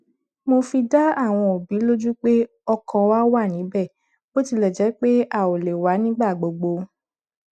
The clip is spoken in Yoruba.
mo fi dá àwọn òbí lójú pé ọkàn wa wá níbẹ bó tilẹ jẹ pé a ò lè wá nígbà gbogbo